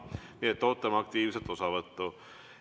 Nii et ootame aktiivset osavõttu.